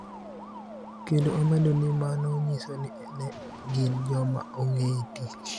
kendo omedo ni mano nyiso ni ne gin joma ongee tich.